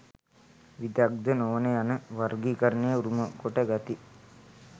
විදග්ධ නොවන යන වර්ගීකරණය උරුමකොට ගති.